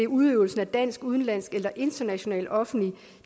udøvelse af dansk udenlandsk eller international offentlig